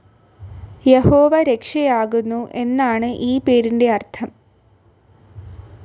യഹോവ രക്ഷയാകുന്നു എന്നാണ്‌ ഈ പേരിന്റെ അർത്ഥം.